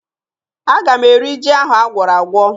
Aga m eri ji ahụ agwọrọ agwọ